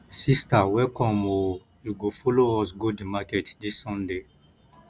sister welcome o you go folo us go di market dis sunday